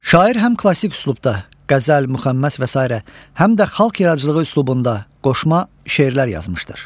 Şair həm klassik üslubda qəzəl, müxəmməs və sairə, həm də xalq yaradıcılığı üslubunda qoşma şeirlər yazmışdır.